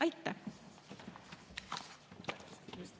Aitäh!